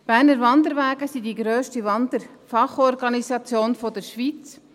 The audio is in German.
Die Berner Wanderwege sind die grösste Wander-Fachorganisation der Schweiz.